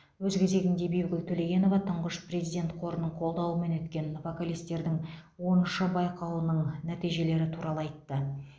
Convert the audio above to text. өз кезегінде бибігул төлегенова тұңғыш президент қорының қолдауымен өткен вокалистердің оныншы байқауының нәтижелері туралы айтты